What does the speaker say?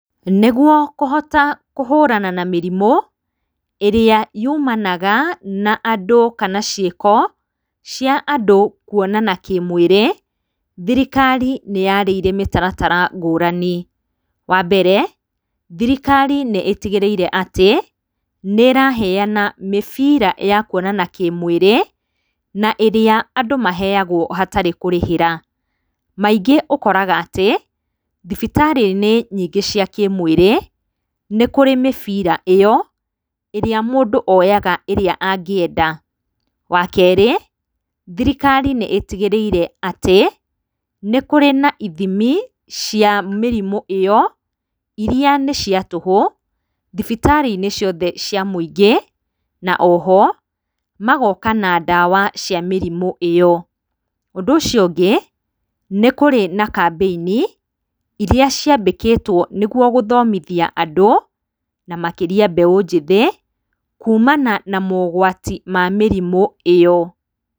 Nĩguo kũhota kũhũũrana na mĩrimũ ĩrĩa yumanaga na andũ kana ciĩko cia andũ kuonana kĩmwĩrĩ, thirikari nĩyarĩire mĩtaratara ngũrani, wa mbere, thirikari nĩ itigĩrĩire atĩ, nĩĩraheana mĩbira ya kuonana kĩmwĩrĩ na ĩrĩa andũ maheagwo hatarĩ kũrĩhĩra, maingĩ ũkoraga atĩ, thibitarĩ-inĩ nyingĩ cia kĩmwĩrĩ, nĩkũrĩ mĩbira ĩyo ĩrĩa mũndũ oyaga ĩrĩa angĩenda. Wa kerĩ, thirikari nĩ ĩtigĩrĩire atĩ, nĩ kũrĩ na ithimi cia mĩrimũ ĩyo, irĩa nĩ cia tũhũ thibitarĩ-inĩ ciothe cia mũingĩ, na oho magooka na ndawa cia mĩrimũ iyo. Ũndũ ũcio ũngĩ, nĩ kũrĩ na kambĩini irĩa ciambĩkĩtwo, nĩguo gũthomithia andũ na makĩria mbeũ njĩthĩ kuumana na mogwati ma mĩrimũ ĩyo.